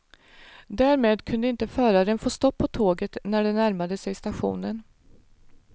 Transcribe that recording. Därmed kunde inte föraren få stopp på tåget när det närmade sig stationen.